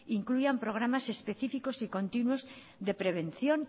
incluyan programas específicos y continuos de prevención